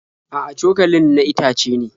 A'a, cokalin na itace ne.